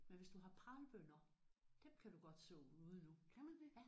Men hvis du har pralbønner dem kan du godt så ude nu